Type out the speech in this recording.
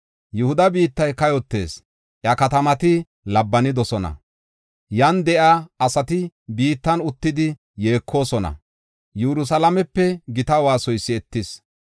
“Yihuda biittay kayotees; iya katamati labbanidosona. Yan de7iya asati biittan uttidi yeekosona; Yerusalaamepe gita waasoy si7etis.